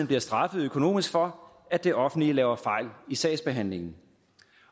bliver straffet økonomisk for at det offentlige laver fejl i sagsbehandlingen